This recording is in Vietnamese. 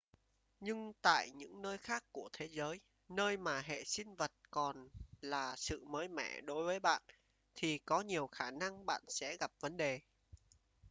nhưng tại những nơi khác của thế giới nơi mà hệ vi sinh vật còn là sự mới mẻ đối với bạn thì có nhiều khả năng bạn sẽ gặp vấn đề